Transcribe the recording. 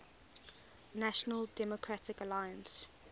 national democratic alliance